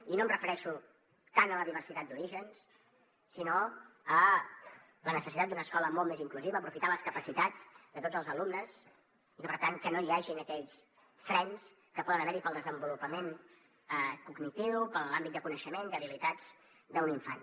i no em refereixo tant a la diversitat d’orígens sinó a la necessitat d’una escola molt més inclusiva a aprofitar les capacitats de tots els alumnes i per tant que no hi hagin aquells frens que poden haver hi per al desenvolupament cognitiu per a l’àmbit de coneixement d’habilitats d’un infant